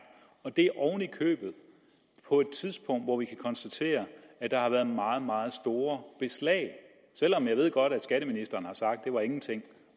og det er oven i købet på et tidspunkt hvor vi kan konstatere at der har været meget meget store beslag selv om jeg godt ved at skatteministeren har sagt at det var ingenting